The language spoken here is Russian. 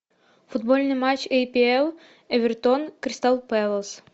футбольный матч апл эвертон кристал пэлас